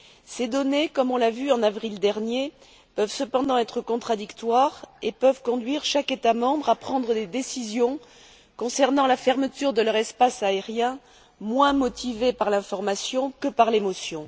Ces données, comme on l'a vu en avril dernier, peuvent cependant être contradictoires et peuvent conduire chaque État membre à prendre des décisions concernant la fermeture de leur espace aérien moins motivées par l'information que par l'émotion.